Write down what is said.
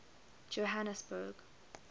johanesburg